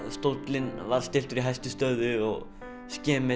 stóllinn var stilltur í hæstu stöðu og